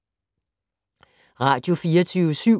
Radio24syv